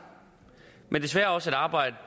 men desværre også et arbejde